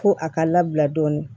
Ko a ka labila dɔɔnin